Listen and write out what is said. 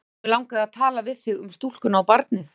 Já, mig langaði til að tala við þig um stúlkuna og barnið.